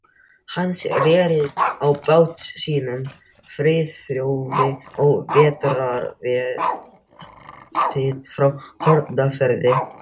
Hann reri á bát sínum, Friðþjófi, á vetrarvertíð frá Hornafirði.